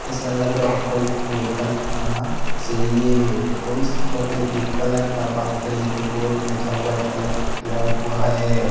ऐसा लग रहा है कोई होटल होना चाहिए और इस होटल के कलर का बात करें तो बहोत अच्छा वाइट कलर किया हुआ है।